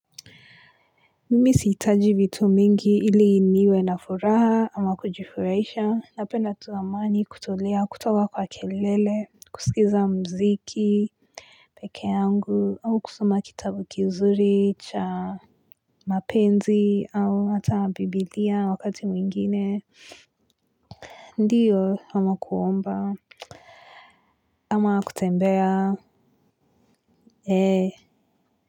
Mimi siitaji vitu mingi ili niwe na furaha ama kujifuraisha napenda tu amani kutolea kutoka kwa kelele kusikiza mziki peke yangu au kusoma kitabu kizuri cha mapenzi au hata bibilia wakati mwingine ndiyo ama kuomba ama kutembea ee.